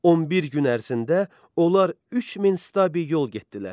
11 gün ərzində onlar 3000 stabi yol getdilər.